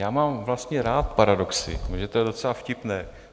Já mám vlastně rád paradoxy, protože to je docela vtipné.